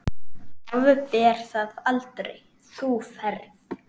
Afber það aldrei, þú ferð.